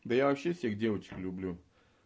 да я вообще всех девочек люблю